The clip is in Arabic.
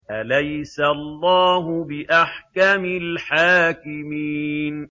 أَلَيْسَ اللَّهُ بِأَحْكَمِ الْحَاكِمِينَ